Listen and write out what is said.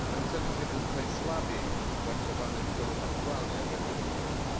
Ten cel jest jednym z najsłabiej zrealizowanych celów aktualnej agendy rozwojowej.